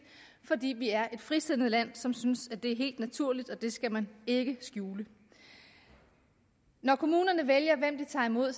fordi vi er et frisindet land som synes det er helt naturligt og at det skal man ikke skjule når kommunerne vælger hvem de tager mod